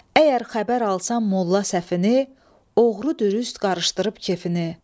Əgər xəbər alsan Molla Səfini, oğru dürüst qarışdırıb kefini.